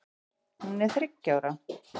Hún er þriggja ára.